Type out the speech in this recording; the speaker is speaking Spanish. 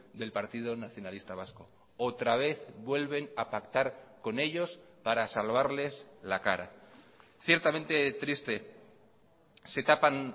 del partido nacionalista vasco otra vez vuelven a pactar con ellos para salvarles la cara ciertamente triste se tapan